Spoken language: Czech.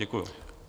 Děkuji.